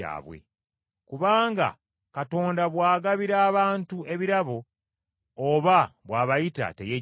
Kubanga Katonda bw’agabira abantu ebirabo oba bw’abayita, teyejjusa.